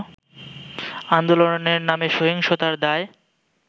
আন্দোলনের নামে সহিংসতার দায়